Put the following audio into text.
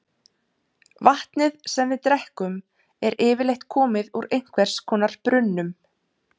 vatnið sem við drekkum er yfirleitt komið úr einhvers konar brunnum